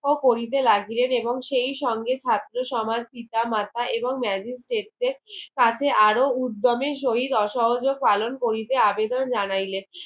করিতে লাগিলেন এবং সেই সঙ্গে ছাত্র সমাজ পিত মাতা এবং magistrate দেড় কাছে আরো উদোমের সহিত অসহযোগ পালন করিতে আবেদন জানাইলে